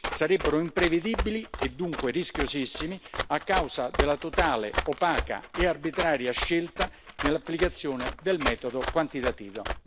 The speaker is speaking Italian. sarebbero imprevedibili e dunque rischiosissimi a causa della totale, opaca e arbitraria scelta nell'applicazione del metodo quantitativo.